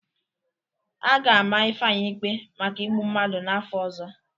A ga-ama Ifeanyị ikpe maka igbu mmadụ n'afọ ọzọ.